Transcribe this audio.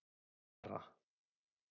Jara